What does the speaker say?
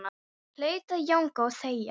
Ég hlaut að jánka og þegja.